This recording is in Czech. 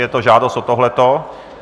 Je to žádost o tohle?